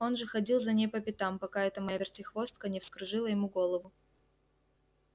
он же ходил за ней по пятам пока эта моя вертихвостка не вскружила ему голову